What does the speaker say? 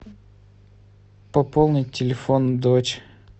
пополнить телефон дочь